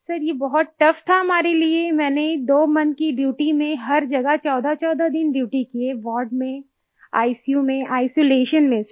sir ये बहुत tough था हमारे लिए मैंने 2 मोंथ की ड्यूटी में हर जगह 1414 दिन ड्यूटी की वार्ड में आईसीयू में आइसोलेशन में सर